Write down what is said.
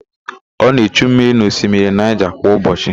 Ọ na-echu mmiri n'osimiri Naịja kwa ụbọchị.